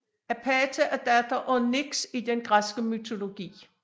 Apate er datter af Nyx i den græske mytologi